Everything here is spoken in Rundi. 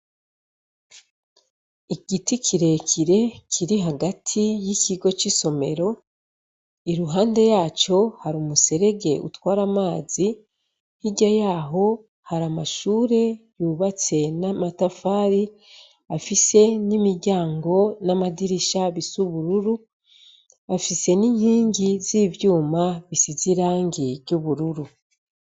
Igiti kirekire kiri hagati yikigo cisomero iruhande yaco hari umuserege utwara amazi, hirya yaho hari amashure yubatse n'amatafari afise nimiryango n'amadirisha bisa ubururu afise n'inkingi z'ivyuma bisize irangi ry'ubururu.